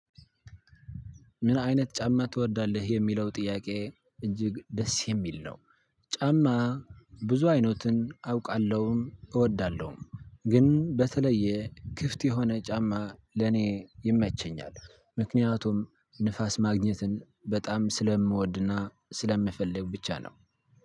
ምን? አይነት ጫማ ትወርዳለህ የሚለው ጥያቄ እጅግ ደስ የሚል ነው። ጫማ ብዙ አይነትን አውቃለሁም እወዳለሁም ግን በተለየ ክፍት የሆነ ጫማ ለኔ ይመቸኛል። ምክንያቱም ንፋስ ማግኘትን በጣም ስለምወድና ስለምፈልግ ብቻ ነው።